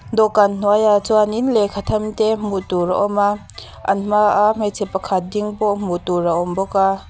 dawhkan hnuaiah chuanin lehkha them te hmuh tur a awm a an hmaa hmeichhe pakhat ding pawh hmuh tur a awm bawk a.